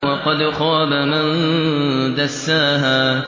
وَقَدْ خَابَ مَن دَسَّاهَا